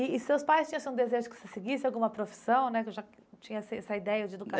E e seus pais tinham esse desejo que você seguisse alguma profissão né, você já tinha essa essa ideia de